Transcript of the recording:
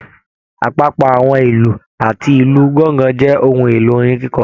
Apapọ àwọn ìlú àti ìlú gangan jẹ ohùn èlò orin kikọ.